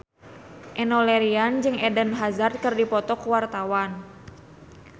Enno Lerian jeung Eden Hazard keur dipoto ku wartawan